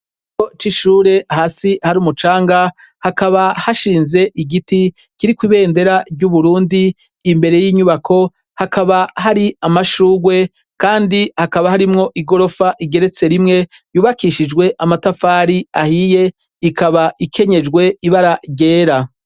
Ikigo c’ishure hasi har’umucanga, habaka hashinze igiti kirikw’ibendera ry’Uburundi, imbere y’inyubako hakaba hari amashugwe kandi hakaba harimwo igorofa igeretse rimwe yubakishijwe amatafari ahiye, ikaba ikenyejwe ibara ryera.